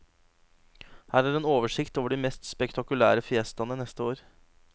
Her er en oversikt over de mest spektakulære fiestaene neste år.